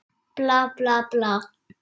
Bla, bla, bla.